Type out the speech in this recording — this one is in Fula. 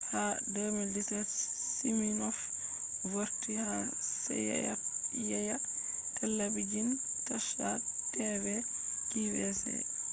ha 2017 siminoff vorti ha seyeyya telabijin tasha tv qvc